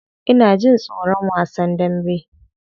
Ina jin tsoron wasan dambe.